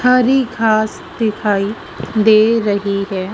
हरी घास दिखाई दे रही है।